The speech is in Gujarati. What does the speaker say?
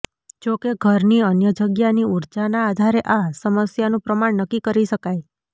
જો કે ઘરની અન્ય જગ્યાની ઊર્જાના આધારે આ સમસ્યાનું પ્રમાણ નક્કી કરી શકાય